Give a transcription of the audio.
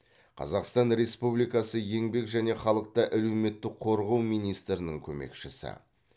қазақстан республикасы еңбек және халықты әлеуметтік қорғау министрінің көмекшісі